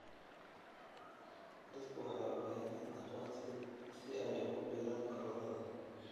Dadku waxay u baahan yihiin aqoonsi si ay ugu biiraan ururada.